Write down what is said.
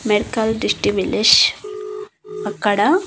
medical అక్కడ--